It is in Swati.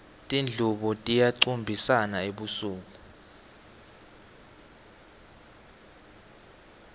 tindlubu tiyacumbisana ebusuku